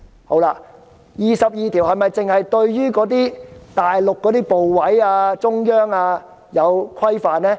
第二十二條是否只規限大陸部委或中央官員？